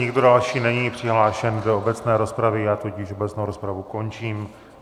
Nikdo další není přihlášen do obecné rozpravy, já tudíž obecnou rozpravu končím.